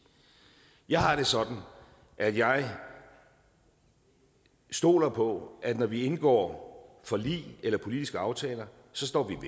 jeg har det sådan at jeg stoler på at når vi indgår forlig eller politiske aftaler så står vi